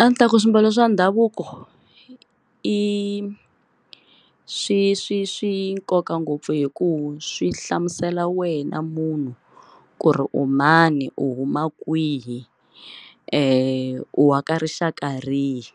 A ni ta ku swimbalo swa ndhavuko i swi swi swi nkoka ngopfu hi ku swi hlamusela wena munhu ku ri u mani u huma kwihi u aka rixaka rihi